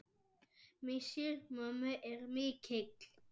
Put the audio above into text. Missir mömmu er mikill.